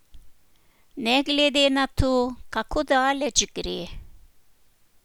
Ne glede na to, kako daleč gre?